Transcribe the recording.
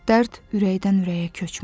Dərd ürəkdən ürəyə köçmür.